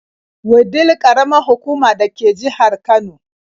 Wudil ƙaramar hukuma da ke ƙasan jihar Kano.